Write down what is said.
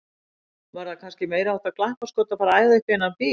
Var það kannski meiriháttar glappaskot að fara að æða upp í þennan bíl!